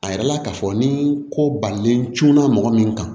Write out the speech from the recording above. A yirala k'a fɔ ni ko balilen cunna mɔgɔ min kan